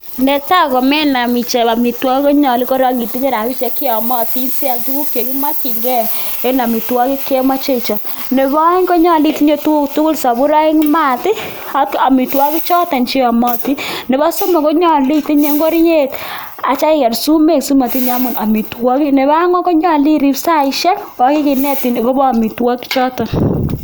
Netai komenam ichob amitwogik koyolu korong itinye rabinik che yomoti sial tuguk che kimokinge en amitwogik che imoche ichob. Nebo oeng ko nyolu itinye tuguk tugul: soburoik, maat, ak amitwogichoto che yomotin. Nebo somok konyolu itinye ngoriet ak itya iger sumek simotiny anyu amitwogik. Nebo ang'wan ko nyolu irib saishek, kiginetin agobo amitwogik choto.